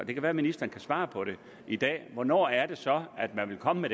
det kan være ministeren kan svare i dag hvornår er det så at man vil komme med